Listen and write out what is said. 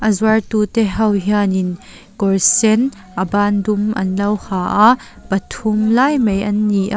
zuartute ho hian in kawr sen a ban dum an lo ha a pathum lai mai an ni a.